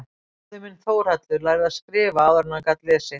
Bróðir minn Þórhallur lærði að skrifa áður en hann gat lesið.